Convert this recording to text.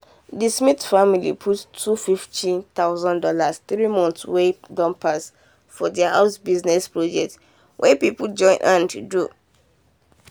the smith family put two hundred and fifty thousand dollars three months wey don pass for their house business project wey people join hand do.